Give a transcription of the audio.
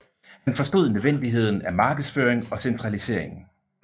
Han forstod nødvendigheden af markedsføring og centralisering